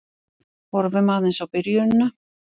Horfum aðeins á byrjunina.